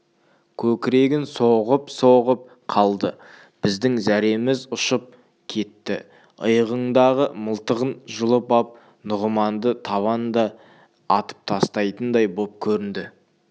көкірегін соғып-соғып қалды біздің зәреміз ұшып кетті иығындағы мылтығын жұлып ап нұғыманды табанда атып тастайтындай боп көрінді